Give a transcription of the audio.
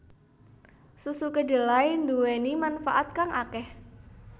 Susu kedelai nduweni manfaat kang akeh